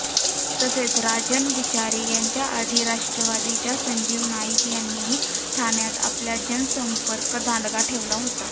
तसेच राजन विचारे यांच्या आधी राष्ट्रवादीच्या संजीव नाईक यांनीही ठाण्यात आपला जनसंपर्क दांडगा ठेवला होता